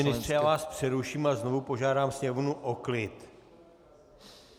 Pane ministře, já vás přeruším a znovu požádám sněmovnu o klid.